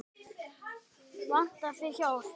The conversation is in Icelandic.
Vantar þig hjálp?